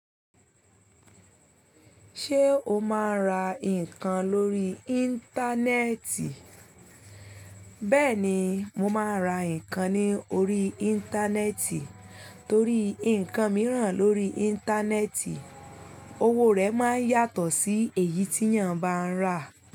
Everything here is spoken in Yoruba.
Ṣé o máa ń ra nǹkan lórí Íńtánẹ́ẹ̀tì? Bẹ́ẹ̀ni, mo máa ń ra nǹkan ní orí Íńtánẹ́ẹ̀tì torí nnkan mìíràn lórí Íńtánẹ́ẹ̀tì owó rẹ̀ máa ń yàtọ̀ sí èyí tí yàn bá ń rà.